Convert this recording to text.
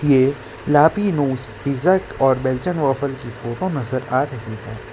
ये लापिनोज पिज़्ज़ा और बेल्जियन वफ्फ की फोटो नजर आ रही है।